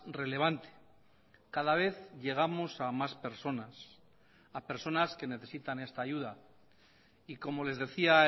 relevante cada vez llegamos a más personas a personas que necesitan esta ayuda y como les decía